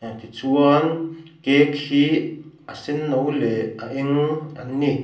tichuan cake hi a senno leh a eng an ni.